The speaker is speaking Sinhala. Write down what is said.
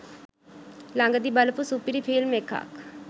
ලගදී බලපු සුපිරි ෆිල්ම් එකක්